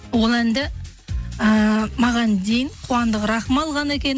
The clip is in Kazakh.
ол әнді ііі маған дейін қуандық рахым алған екен